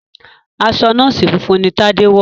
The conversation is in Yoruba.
aṣọ nọọsi funfun ní Tade wọ.